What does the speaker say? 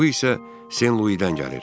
Bu isə Sen Luidən gəlir.